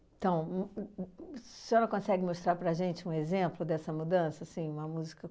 Então, a senhora consegue mostrar para a gente um exemplo dessa mudança, assim, uma música?